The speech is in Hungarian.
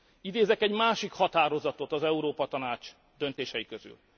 Idézek egy másik határozatot az Európa Tanács döntései közül.